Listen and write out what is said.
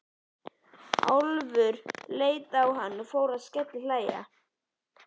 Álfur leit á hann og fór að skellihlæja.